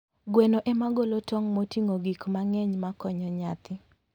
Gweno ema golo tong' moting'o gik mang'eny makonyo nyathi.